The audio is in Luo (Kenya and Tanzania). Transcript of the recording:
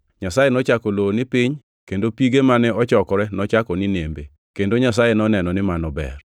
Nyasaye nochako lowo ni “piny” kendo pige mane ochokore nochako ni “nembe.” Kendo Nyasaye noneno ni mano ber.